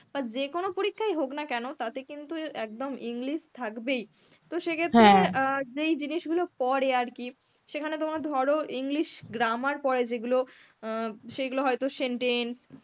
যেকোনো পরীক্ষাই হোক না কেন তাতে কিন্তু একদম English থাকবেই. তো সেক্ষেত্রে অ্যাঁ যেই জিনিসগুলো পরে আর কি সেখানে তোমার ধরো English grammar পরে যেগুলো অ্যাঁ সেগুলো হয়তো sentence